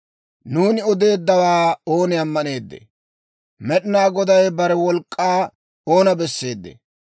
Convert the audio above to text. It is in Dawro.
Nuuni odeeddawaa ooni ammaneeddee? Med'inaa Goday bare wolk'k'aa oona besseedee?